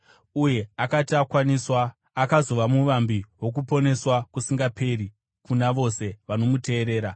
uye akati akwaniswa, akazova muvambi wokuponeswa kusingaperi kuna vose vanomuteerera